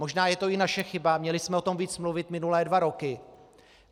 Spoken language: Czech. Možná je to i naše chyba, měli jsme o tom víc mluvit minulé dva roky.